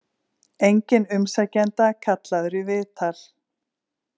Enginn umsækjenda kallaður í viðtal